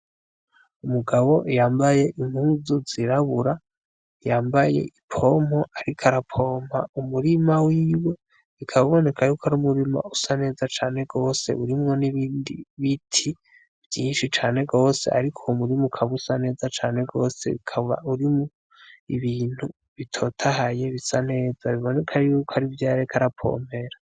Umugabo yambaye impuzu zirabura yambaye i pompo ari karapompa umurima wiwe bikaba iboneka yuko ari umurima usa neza cane rwose urimwo n'ibindi biti vyinshi cane rwose, ariko uwumurima ukaba usa neza cane rwose bikaba urimwo ibintu bitotahaye bisa neza biboneka yuko ari vyareka arapompera.